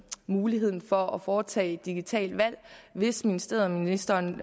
muligheden for at foretage digitale valg hvis ministeriet og ministeren